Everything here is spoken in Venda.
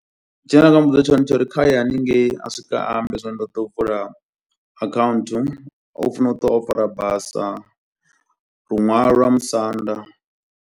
Tshine nda nga muvhudza tshone tsho uri kha ye hanengei, a swika ambe zwori ndo ḓo u vula akhaunthu. U funo u ṱuwa o fara basa, luṅwalo lwa musanda.